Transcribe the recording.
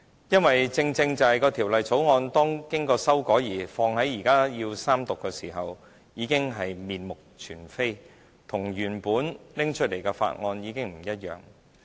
因為正正是《條例草案》經過修改，而到了現時三讀的階段，已經面目全非，與原本提出的法案不同。